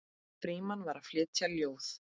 Frímann var að flytja ljóð.